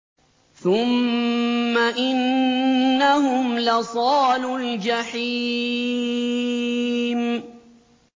ثُمَّ إِنَّهُمْ لَصَالُو الْجَحِيمِ